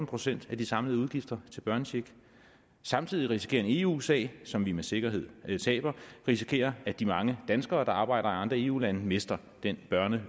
procent af de samlede udgifter til børnecheck samtidig risikerer vi en eu sag som vi med sikkerhed taber vi risikerer at de mange danskere der arbejder i andre eu lande mister den børne